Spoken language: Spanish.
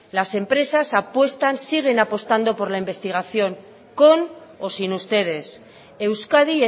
las empresas apuestan siguen apostado por la investigación con o sin ustedes euskadi